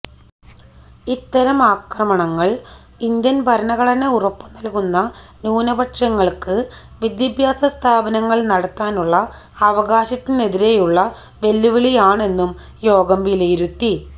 ഇത്തരം ആക്രമണങ്ങള് ഇന്ത്യന് ഭരണഘടന ഉറപ്പുനല്കുന്ന ന്യൂനപക്ഷങ്ങള്ക്ക് വിദ്യാഭാസ സ്ഥാപനങ്ങള് നടത്താനുള്ള അവകാശത്തിനെതിരെയുള്ള വെല്ലുവിളിയാണെന്നും യോഗം വിലയിരുത്തി